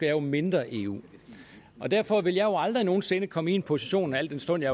jo mindre eu derfor vil jeg jo aldrig nogen sinde komme i den position al den stund at